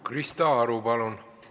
Krista Aru, palun!